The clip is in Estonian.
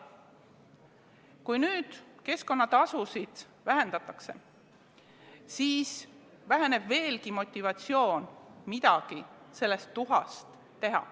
Kui keskkonnatasusid vähendatakse, siis väheneb veelgi motivatsioon midagi sellest tuhast teha.